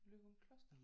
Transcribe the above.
Løgumskloster